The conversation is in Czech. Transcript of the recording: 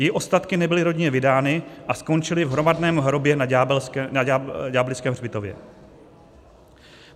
Její ostatky nebyly rodině vydány a skončily v hromadném hrobě na ďáblickém hřbitově.